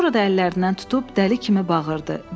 Sonra da əllərindən tutub dəli kimi bağırdı.